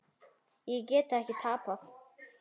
Ég get ekki tapað.